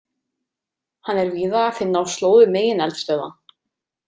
Hann er víða að finna á slóðum megineldstöðva.